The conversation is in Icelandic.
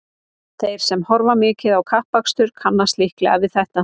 Þeir sem horfa mikið á kappakstur kannast líklega við þetta.